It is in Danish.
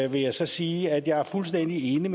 jeg så sige at jeg er fuldstændig enig med